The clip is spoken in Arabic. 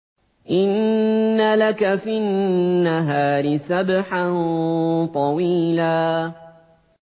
إِنَّ لَكَ فِي النَّهَارِ سَبْحًا طَوِيلًا